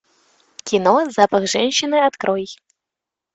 кино запах женщины открой